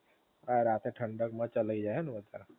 હા રાતે ઠંડક માં ચલાઈ જાઇ એમ ને વધારે?